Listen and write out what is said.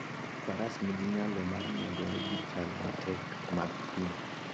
Faras nigi nyalo mar nyagore gi chal matek mag thim.